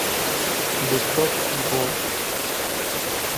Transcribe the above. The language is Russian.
бычок и волк